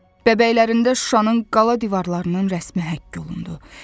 Bəbəklərində Şuşanın qala divarlarının rəsmə həkk olundu.